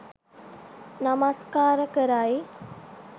නමස්කාර කරයි.